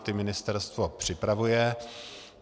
Ty ministerstvo připravuje.